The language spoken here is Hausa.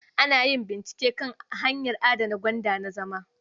Ana yin bincike kan hanyar adana gwanda na zama.